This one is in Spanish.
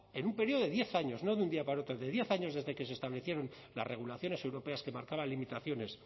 en un periodo de diez años no de un día para otro de diez años desde que se establecieron las regulaciones europeas que marcaban limitaciones